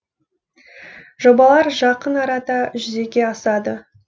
жобалар жақын арада жүзеге асады